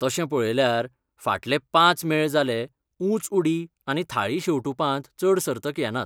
तशें पळयल्यार, फाटले पांच मेळ जाले ऊंच उडी आनी थाळी शेंवटुपांत चड सर्तक येनात.